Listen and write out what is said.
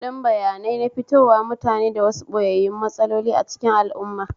Fim ɗin bayanai na fitowa mutane da wasu ɓoyayyun matsaloli a cikin al'auma